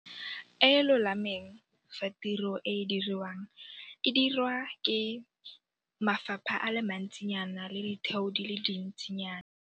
E e lolameng fa tiro e e diriwang e dirwa ke mafapha a le mantsinyana le ditheo di le dintsinyana.